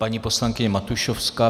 Paní poslankyně Matušovská.